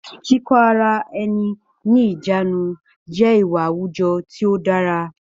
Kíkó ara ẹni ní ìjánu jẹ́ ìwà àwùjọ tí ó dára